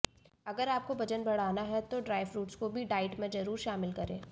अगर आपको वजन बढ़ाना है तो ड्राई फ्रूट्स को भी डाइट में ज़रूर शामिल करें